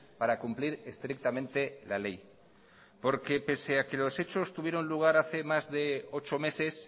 para cumplir estrictamente la ley porque pese a que los hechos tuvieron lugar hace más de ocho meses